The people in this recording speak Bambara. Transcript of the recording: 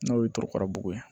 N'o ye torokarabugu ye